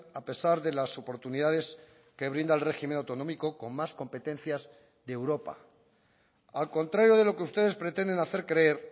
a pesar de las oportunidades que brinda el régimen autonómico con más competencias de europa al contrario de lo que ustedes pretenden hacer creer